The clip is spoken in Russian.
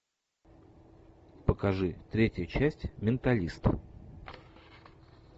покажи третья часть менталист